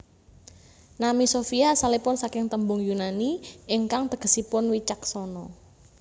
Nami Sofia asalipun saking tembung Yunani ingkang tegesipun wicaksana